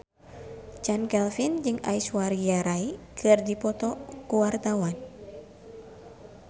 Chand Kelvin jeung Aishwarya Rai keur dipoto ku wartawan